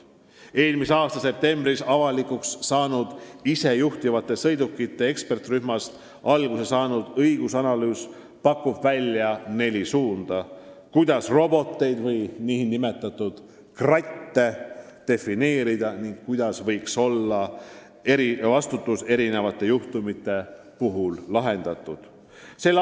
Eelmise aasta septembris avalikustatud isejuhtivate sõidukite eksperdirühmast alguse saanud õigusanalüüs pakub välja neli suunda, kuidas roboteid ehk nn kratte defineerida ning kuidas võiks erinevate juhtumite puhul olla lahendatud vastutus.